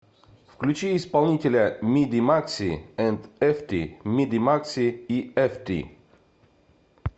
включи исполнителя миди макси энд эфти миди макси и эфти